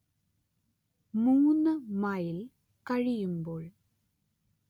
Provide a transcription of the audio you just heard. മൂന് mile കഴിയുമ്പോൾ